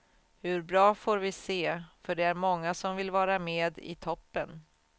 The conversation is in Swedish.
Hur bra får vi se, för det är många som vill vara med i toppen.